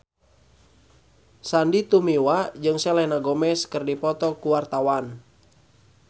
Sandy Tumiwa jeung Selena Gomez keur dipoto ku wartawan